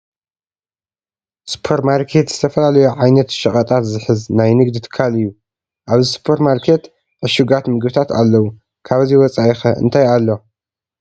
ሱፐር ማርኬት ዝተፈላለዩ ዓይነት ሸቐጣት ዝሕዝ ናይ ንግዲ ትካል እዩ፡፡ ኣብዚ ሱፐር ማርኬት ዕሹጋት ምግብታት ኣለዉ፡፡ ካብዚ ወፃኢ ኸ እንታይ ኣሎ?